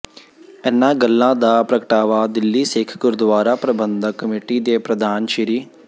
ਇਨ੍ਹਾਂ ਗੱਲਾਂ ਦਾ ਪ੍ਰਗਟਾਵਾ ਦਿੱਲੀ ਸਿੱਖ ਗੁਰਦੁਆਰਾ ਪ੍ਰਬੰਧਕ ਕਮੇਟੀ ਦੇ ਪ੍ਰਧਾਨ ਸ੍ਰ